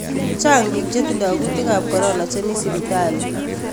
Chang piik chetindo kuutikaab corona chemii sipitali